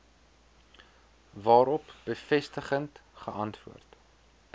waarop bevestigend geantwoord